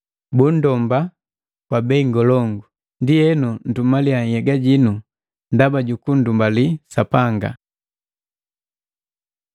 Bunndomba kwa bei ngolongu. Ndienu ntumaliya nhyega jinu ndaba jukunndumbali Sapanga.